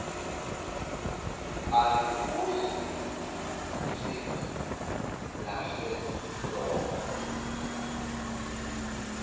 alahoyi yintsimbi yaseloko